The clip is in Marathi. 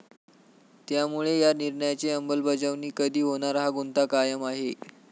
त्यामुळे या निर्णयाची अंमलबजावणी कधी होणार, हा गुंता कायम आहे.